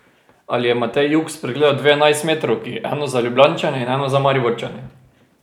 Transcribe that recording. Ali je Matej Jug spregledal dve enajstmetrovki, eno za Ljubljančane in eno za Mariborčane?